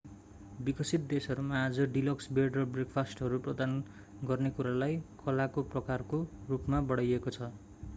विकसित देशहरूमा आज डिलक्स बेड र ब्रेकफास्टहरू प्रदान गर्ने कुरालाई कलाको-प्रकारको रूपमा बढाइएको छ